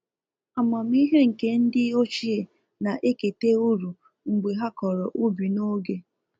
Amamihe nke ndị ochie na ekete uru mgbe ha kọrọ ubi n'oge